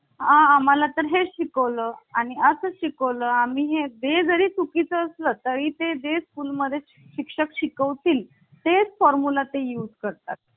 आम्हाला तर हे शिकवलं आणि असं शिकवलं. आम्ही वेळी चुकी चं असलं तरी इथे दे स्कूल मध्ये शिक्षक शिकवतील ते formula ते use करतात